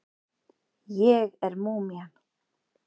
Ég er múmían.